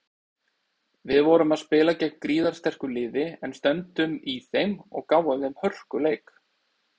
Við vorum spila gegn gríðarsterku liði en stöndum í þeim og gáfum þeim hörkuleik.